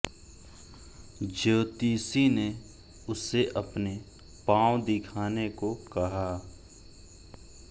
ज्योतिषी ने उसे अपने पाँव दिखाने को कहा